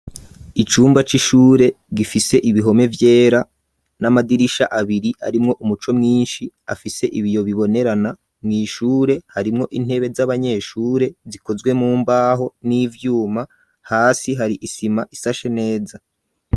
Icumba c'ishure gifise ibihome vyera n'amadirisha abiri arimwo umuco mwinshi afise ibiyo bibonerana mu ishure harimwo intebe z'abanyeshure zikozwe mumbaho n'ivyuma hasi hari isima isashe neza.